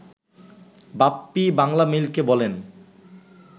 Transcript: বাপ্পী বাংলামেইলকে বলেন